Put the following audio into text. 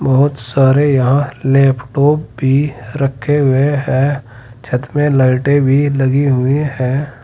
बहुत सारे यहां लैपटॉप भी रखे हुए हैं छत में लाइटे भी लगी हुई हैं।